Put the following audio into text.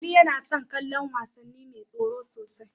Ali yana son kallon wasanni mai tsoro sosai.